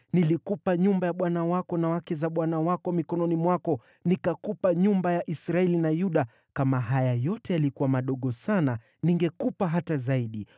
Nilikupa nyumba ya bwana wako na wake za bwana wako mikononi mwako. Nikakupa nyumba ya Israeli na Yuda. Kama haya yote yalikuwa madogo sana, ningekupa hata zaidi.